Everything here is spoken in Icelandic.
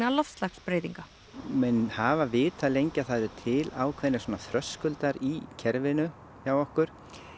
loftslagsbreytinga menn hafa vitað lengi að það eru til ákveðnir þröskuldar í kerfinu hjá okkur